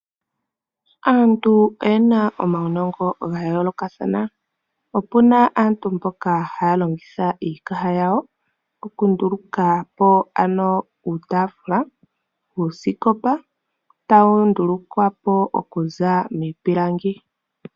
Aantu oye na omaunongo ga yoolokathana. Opu na aantu mboka haya longitha iikaha yawo okunduluka po uutaafula nuusikopa tawu ndulukwa po okuza miipilangi.